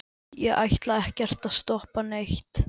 ég ætlaði ekkert að stoppa neitt.